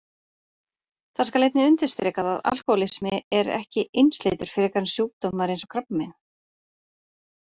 Það skal einnig undirstrikað að alkóhólismi er ekki einsleitur frekar en sjúkdómar eins og krabbamein.